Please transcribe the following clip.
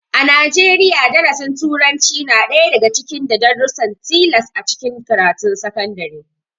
A Najeriya, darasin turanci na ɗaya daga cikin da darussan tilas a cikin karatun sakandare